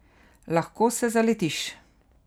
Lahko se zaletiš.